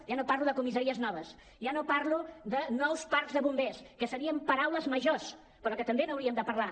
ja no parlo de comissaries noves ja no parlo de nous parcs de bombers que serien paraules ma·jors però que també n’hauríem de parlar